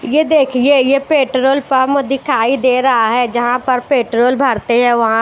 ये देखिए ये पेट्रोल पम दिखाई दे रहा है जहां पर पेट्रोल भरते हैं वहां--